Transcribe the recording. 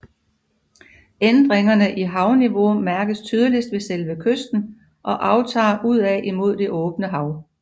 Ændringerne i havniveau mærkes tydeligst ved selve kysten og aftager udad imod det åbne hav